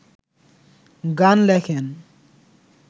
গান লেখেন